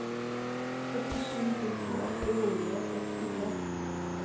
førtisju tusen åtte hundre og sekstitre